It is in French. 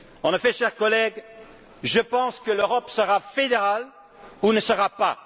En effet, chers collègues, je pense que l'Europe sera fédérale ou ne sera pas.